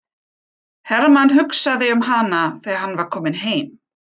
Hermann hugsaði um hana þegar hann var kominn heim.